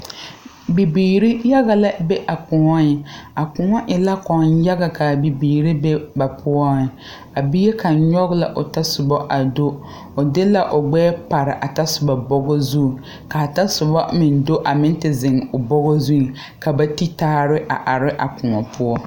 Bibiire yaga lɛ be a kõɔ a kõɔ e la kɔŋ yaga kaa bibiire be ba poɔŋ a bie kaŋ nyoge la o tasobɔ a do o de la gbɛɛ pare a tasobɔ bɔgɔ zu ka tasobɔ meŋ do a meŋ te zeŋ o bɔgɔ zu ka ba ti taare a are a kõɔ poɔ.